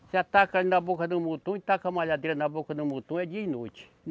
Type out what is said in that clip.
Você ataca ali na boca do e taca a malhadeira na boca do é dia e noite.